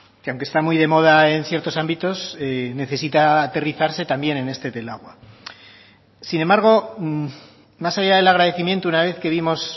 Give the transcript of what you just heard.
que aunque está muy de moda en ciertos ámbitos necesita aterrizarse también en este del agua sin embargo más allá del agradecimiento una vez que vimos